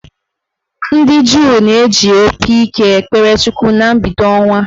Ndị Juu na-eji opi ike ekpere Chukwu na mbido ọnwa